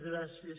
gràcies